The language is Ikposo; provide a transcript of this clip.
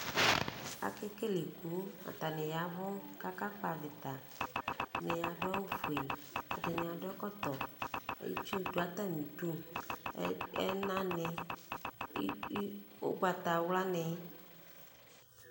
Ake kele iku, atanɩ yavʋ kaka kpavɩtaɛdɩnɩ adʋ awʋ fue, ɛdɩnɩ adʋ ɛkɔtɔ, itsu ya n' atamɩdu; ɛna nɩ,ʋgbatawla nɩ